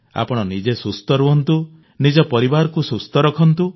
ଆପଣ ନିଜେ ସୁସ୍ଥ ରହନ୍ତୁ ନିଜ ପରିବାରକୁ ସୁସ୍ଥ ରଖନ୍ତୁ